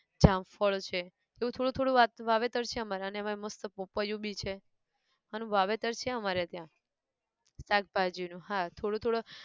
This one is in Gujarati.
જામફળ છે, એવું થોડું થોડું વાત વાવેતર છે અમારે અન એમાંયે મસ્ત પપૈયું બી છે, અન વાવેતર છે અમારે ત્યાં, શાકભાજી નું હા, થોડું થોડું